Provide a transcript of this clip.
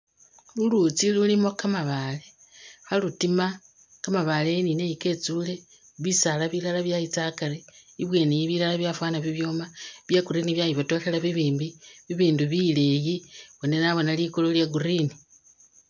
Luluutsi lulimo kamabaale khalutiima kamabaale eyi ni neyi ketsiile, bisaala byayitsa akaari ibweeni bilala byafana bibyooma bya'green byayibotokhelela bibimbi, bibindi bileeyi boona naboona liguulu lya green